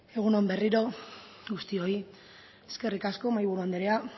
egun on berriro guztioi eskerrik asko mahaiburu andereak